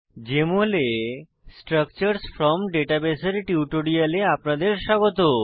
JML এ structures from database এর টিউটোরিয়ালে আপনাদের স্বাগত